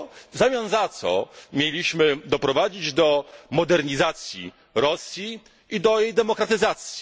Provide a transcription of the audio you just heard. W zamian za to mięliśmy doprowadzić do modernizacji Rosji i do jej demokratyzacji.